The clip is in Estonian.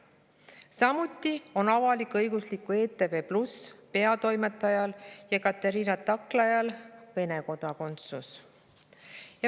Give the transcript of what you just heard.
Samuti on avalik-õigusliku ETV+ peatoimetajal Ekaterina Taklajal Vene kodakondsus.